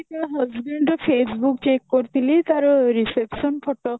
ତା husband ର Facebook check କରୁଥିଲି ତାର reception photo